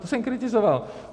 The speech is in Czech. To jsem kritizoval.